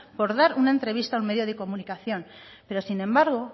por dar una entrevista a un medio de comunicación pero sin embargo